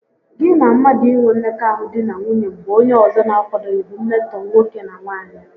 Gị na mmadụ inwe mmekọahụ di na nwunye mgbe onye ọzọ n'akwadoghị bụ mmetọ nwoke na nwaanyị